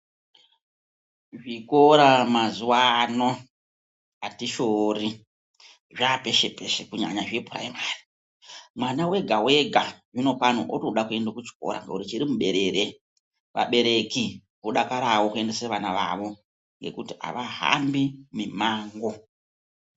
Zvikora mazuwa ano atishori zvapeshe peshe kunyanya zvepuraimari mwana wega wega zvino pano otoda kuenda kuchikora ngekuti chiri muberere vabereki vodakarawo kuendese vana vavo ngekuti avahambi mimango.